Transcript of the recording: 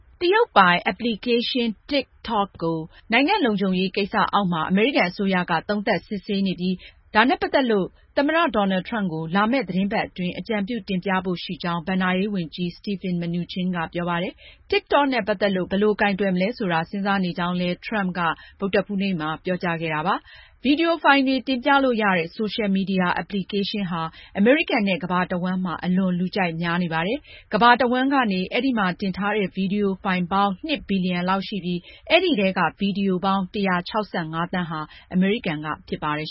တရုတ်ပိုင် အက်ပလီကေးရှင်း APP TikTok ကို နိုင်ငံလုံခြုံရေး ကိစ္စအောက်မှာ အမေရိကန်အစိုးရက သုံးသပ်စစ်ဆေးနေပြီး ဒါနဲ့ ပတ်သက်လို့ သမ္မတ Donald Trump ကို လာမယ့် သီတင်းပတ်အတွင်း အကြံပြုတင်ပြဖို့ရှိကြောင်း ဘဏ္ဍာရေးဝန်ကြီး Steve Mnuchin ကပြောပါတယ်။ TikTok နဲ့ ပတ်သက်လို့ ဘယ်လိုကိုင်တွယ်မလဲဆိုတာ စဉ်းစားနေကြောင်း Trump ကလည်း ဗုဒ္ဓဟူးနေ့မှာ ပြောကြားခဲ့ပါတယ်။ ဗွီဒီယိုဖိုင်တွေ တင်ပြလို့ရတဲ့ ဆိုရှယ်မီဒီယာ အက်ပလီကေရှင်းဟာ အမေရိကန်နဲ့ ကမ္ဘာတဝှမ်းမှာ အလွန်လူကြိုက်များနေတာပါ။ ကမ္ဘာတဝှမ်းကနေ အဲဒီမှာ တင်ထားတဲ့ ဗွီဒီယိုဖိုင်ပေါင်း ၂ ဘီလီယံလောက်ရှိပြီး အဲဒီထဲက ဗွီဒီယိုပေါင်း ၁၆၅ သန်းဟာ အမေရိကန်က ဖြစ်ပါတယ်